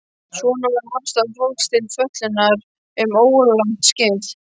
Svona var afstaða fólks til fötlunar um óralangt skeið.